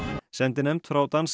sendinefnd frá danska